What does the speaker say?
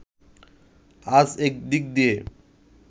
আজ একদিক দিয়ে